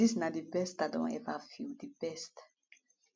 dis na di best i don eva feel di best